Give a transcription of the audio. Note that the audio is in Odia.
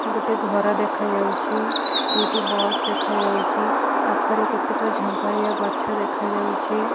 ଗୋଟେ ଘର ଦେଖାଯାଉଛି। ଦୁଇଟି ବସ୍ ଦେଖାଯାଉଛି। ପାଖରେ କେତେକ ଝଙ୍କାଳିଆ ଗଛ ଦେଖାଯାଉଛି।